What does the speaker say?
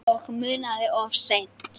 Og munað of seint.